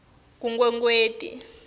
kunkwekweti